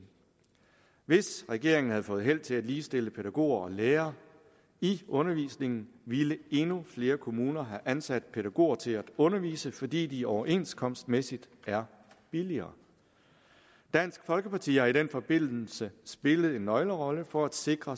hvis regeringen havde fået held til at ligestille pædagoger og lærere i undervisningen ville endnu flere kommuner have ansat pædagoger til at undervise fordi de overenskomstmæssigt er billigere dansk folkeparti har i den forbindelse spillet en nøglerolle for at sikre